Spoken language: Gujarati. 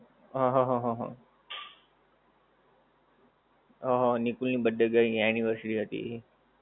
હા, હા, હા, હા, હા. હા, હા નિકુલની birthday ગઈ anniversary હતી.